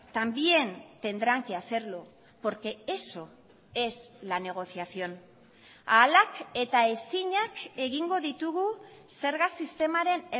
también tendrán que hacerlo porque eso es la negociación ahalak eta ezinak egingo ditugu zerga sistemaren